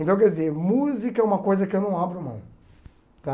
Então, quer dizer, música é uma coisa que eu não abro mão, tá?